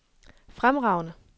fremragende